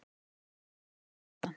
Hún gleðst sjaldan.